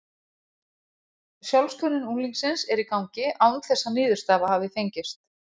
Sjálfskönnun unglingsins er í gangi án þess að niðurstaða hafi fengist.